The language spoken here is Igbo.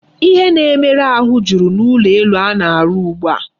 Ihe na-emere ahụ jụrụ n'ulo elu a na-arụ ugbu a.